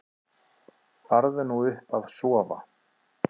Farðu nú upp að sofa.